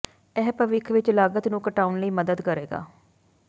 ਇਹ ਭਵਿੱਖ ਵਿੱਚ ਲਾਗਤ ਨੂੰ ਘਟਾਉਣ ਲਈ ਮਦਦ ਕਰੇਗਾ